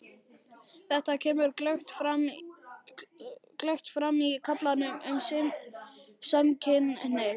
Þetta kemur glöggt fram í kaflanum um samkynhneigð.